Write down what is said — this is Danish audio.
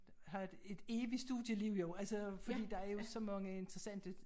Have et et evigt studieliv jo altså fordi der er jo så mange interessante